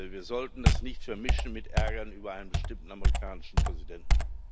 Wir sollten das nicht vermischen mit Ärger über einen bestimmten amerikanischen Präsidenten.